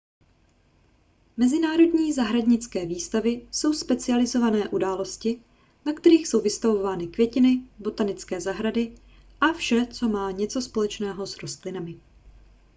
mezinárodní zahradnické výstavy jsou specializované události na kterých jsou vystavovány květiny botanické zahrady a vše co má něco společného s rostlinami